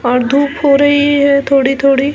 और धुप हो रही है थोड़ी-थोड़ी--